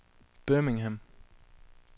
Birmingham